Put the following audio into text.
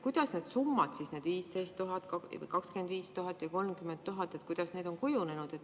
Kuidas need summad, need 15 000, 25 000 ja 30 000, on kujunenud?